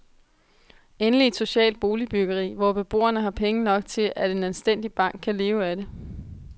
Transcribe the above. Endeligt et socialt boligbyggeri, hvor beboerne har penge nok til, at en anstændig bank kan leve af det.